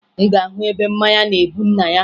Ị ga-ahụ ebe mmanya na-ebu nna ya